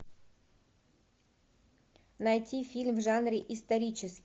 найти фильм в жанре исторический